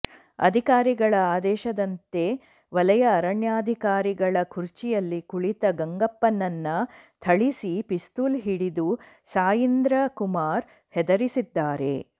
ಅಧಿಕಾರಿಗಳ ಆದೇಶದಂತೆ ವಲಯ ಅರಣ್ಯಾಧಿಕಾರಿಗಳ ಕುರ್ಚಿಯಲ್ಲಿ ಕುಳಿತ ಗಂಗಪ್ಪನನ್ನ ಥಳಿಸಿ ಪಿಸ್ತೂಲ್ ಹಿಡಿದು ಸಾಯೀಂದ್ರ ಕುಮಾರ್ ಹೆದರಿಸಿದ್ದಾರೆ